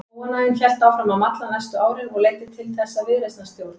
Óánægjan hélt áfram að malla næstu árin og leiddi til þess að viðreisnarstjórn